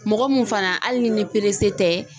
Mɔgɔ min fana hali ni ni tɛ.